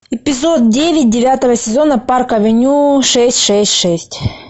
эпизод девять девятого сезона парк авеню шесть шесть шесть